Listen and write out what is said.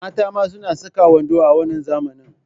Mata ma suna saka wando a wannan zamani.